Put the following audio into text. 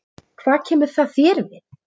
Hvað kemur það þér við?